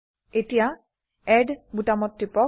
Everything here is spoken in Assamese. এতিয়া এড বোতামত টিপক